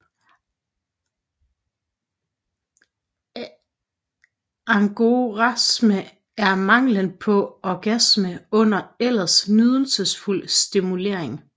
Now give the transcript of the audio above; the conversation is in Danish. Anorgasme er manglen på orgasme under ellers nydelsesfuld stimulering